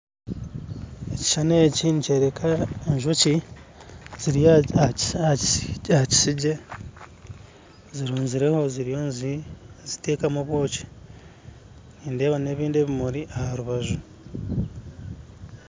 Ekishushani eki nikyoreka enjoki ziri aha kisigye zirunzireho ziriyo nizitekamu obwoki nindeeba n'ebindi bimuri aharubaju.